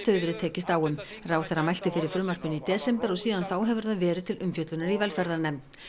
hefur verið tekist á um ráðherra mælti fyrir frumvarpinu í desember og síðan þá hefur það verið til umfjöllunar í velferðarnefnd